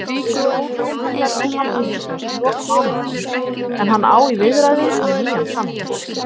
Jóhann verður samningslaus í lok mánaðarins en hann á í viðræðum um nýjan samning.